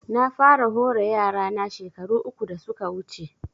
Na fara hore yara na shekaru uku da suka wuce